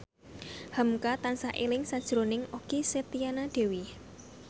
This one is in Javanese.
hamka tansah eling sakjroning Okky Setiana Dewi